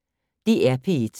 DR P1